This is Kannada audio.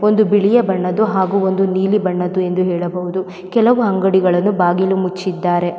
ಒಂದು ಬಿಳಿಯ ಬಣ್ಣದ್ದು ಹಾಗು ಒಂದು ನೀಲಿ ಬಣ್ಣದ್ದು ಎಂದು ಹೇಳಬಹುದು ಕೆಲವು ಅಂಗಡಿಗಳನ್ನು ಬಾಗಿಲು ಮುಚ್ಚಿದ್ದಾರೆ .